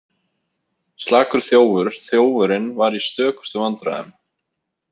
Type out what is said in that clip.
Slakur þjófur Þjófurinn var í stökustu vandræðum.